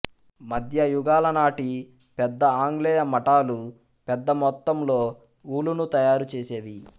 మధ్య యుగాలనాటి పెద్ద ఆంగ్లేయ మటాలు పెద్ద మొత్తంలో ఊలును తయారుచేసేవి